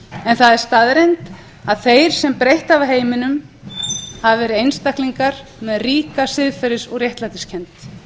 en það er staðreynd að þeir sem breytt hafa heiminum hafa verið einstaklingar með ríka réttlætiskennd